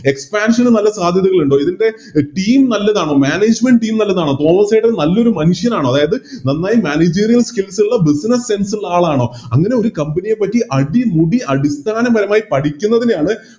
Expansion നല്ല സാധ്യതകളുണ്ട് ഇതിൻറെ Team നല്ലതാണോ Management team നല്ലതാണോ തോമസ്സേട്ടൻ നല്ലൊരു മനുഷ്യനാണോ അതായത് നന്നായി Managering skills ഉള്ള Business sense ഉള്ള ആളാണോ അങ്ങനെ ഒരു Company യെ പറ്റി അടിമുടി അടിസ്ഥാനപരമായി പഠിക്കുന്നതിനെയാണ്